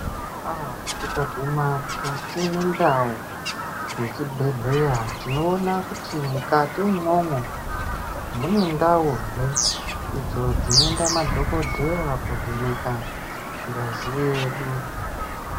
Tikaguma mukati mendau yechi bhedhleya tinoona kuti mukati umomo mune ndao he idzo dzinoenda ma dhokodheya kovheneka ngazi yedu